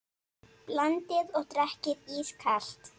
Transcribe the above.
Blandið og drekkið ískalt.